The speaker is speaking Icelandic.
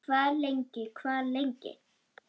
Hvað lengi, hvað lengi?